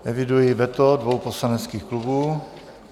Eviduji veto dvou poslaneckých klubů.